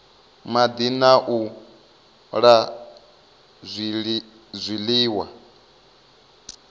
madi na u la zwiliwa